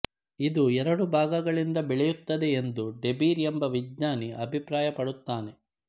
ಇದು ಎರಡು ಭಾಗಗಳಿಂದ ಬೆಳೆಯುತ್ತದೆ ಎಂದು ಡೆಬೀರ್ ಎಂಬ ವಿಜ್ಞಾನಿ ಅಭಿಪ್ರಾಯಪಡುತ್ತಾನೆ